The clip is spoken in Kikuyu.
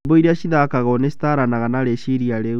Nyĩmbo iria cithakagwo nĩcitwaranaga na rĩciria rĩu.